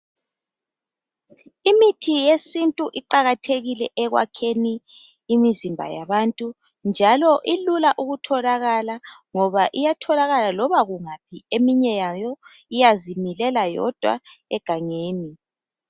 Imithi yesintu iqakathekile ekwakheni imizimba yabantu njalo ilula ukutholakala ngoba iyatholakala loba kungaphi. Eminye yayo iyazimilela yodwa egangeni.